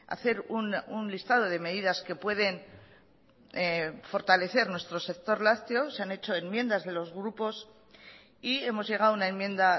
hacer un listado de medidas que pueden fortalecer nuestro sector lácteo se han hecho enmiendas de los grupos y hemos llegado a una enmienda